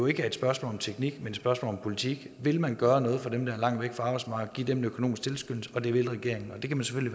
ikke er et spørgsmål om teknik men et spørgsmål om politik vil man gøre noget for dem der er langt væk fra arbejdsmarkedet en økonomisk tilskyndelse det vil regeringen